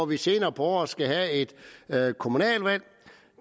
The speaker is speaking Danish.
vi senere på året skal have et kommunalvalg